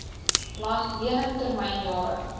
lening termyn jare